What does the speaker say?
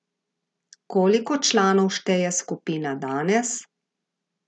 Koliko članov šteje skupina danes?